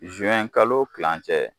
kalo tilen cɛ